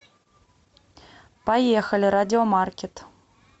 поехали радиомаркет